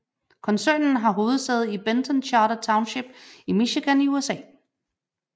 Koncernen har hovedsæde i Benton Charter Township i Michigan i USA